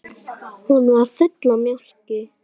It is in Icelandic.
Hún var full af mjólk!